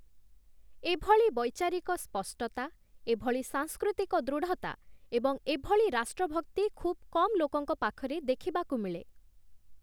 ଏଭଳି ବୈଚାରିକ ସ୍ପଷ୍ଟତା, ଏଭଳି ସାଂସ୍କୃତିକ ଦୃଢ଼ତା ଏବଂ ଏଭଳି ରାଷ୍ଟ୍ରଭକ୍ତି ଖୁବ୍ କମ୍ ଲୋକଙ୍କ ପାଖରେ ଦେଖିବାକୁ ମିଳେ ।